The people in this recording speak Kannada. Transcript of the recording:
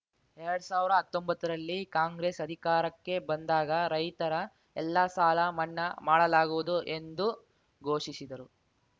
ಎರಡ್ ಸಾವಿರ ಹತ್ತೊಂಬತ್ತರಲ್ಲಿ ಕಾಂಗ್ರೆಸ್‌ ಅಧಿಕಾರಕ್ಕೆ ಬಂದಾಗ ರೈತರ ಎಲ್ಲ ಸಾಲ ಮನ್ನಾ ಮಾಡಲಾಗುವುದು ಎಂದು ಘೋಷಿಸಿದರು